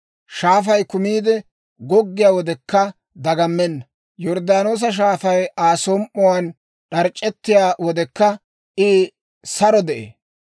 Shaafay kumiide goggiyaa wodekka dagammenna; Yorddaanoosa Shaafay Aa som"uwaan d'arc'c'ettiyaa wodekka I saro de'ee.